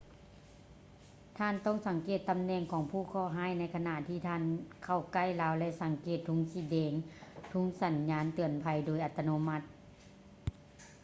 ທ່ານຕ້ອງສັງເກດຕຳແໜ່ງຂອງຜູ້ເຄາະຮ້າຍໃນຂະນະທີ່ທ່ານເຂົ້າໃກ້ລາວ ແລະ ສັງເກດທຸງສີແດງ ທຸງສັນຍານເຕືອນໄພ ໂດຍອັດຕະໂນມັດ